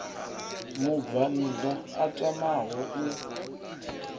mubvann ḓa a tamaho u